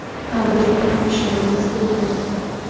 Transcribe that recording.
Ha, bizning ham ishongimiz kelmayapti.